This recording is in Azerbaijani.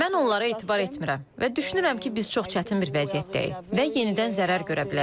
Mən onlara etibar etmirəm və düşünürəm ki, biz çox çətin bir vəziyyətdəyik və yenidən zərər görə bilərik.